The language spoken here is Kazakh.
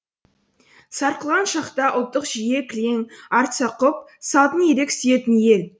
сарқылған шақта ұлттық жүйе кілең артса құп салтын ерек сүйетін ел